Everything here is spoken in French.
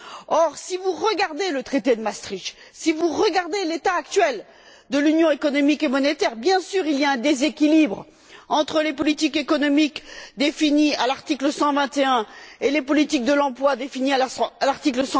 Or, si vous regardez le traité de Maastricht, si vous regardez l'état actuel de l'union économique et monétaire, vous constaterez évidemment qu'il y a un déséquilibre entre les politiques économiques définies à l'article 121 et les politiques de l'emploi définies à l'article